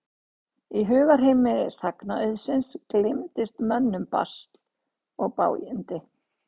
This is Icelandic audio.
Í hugarheimi sagnaauðsins gleymdist mönnum basl og bágindi.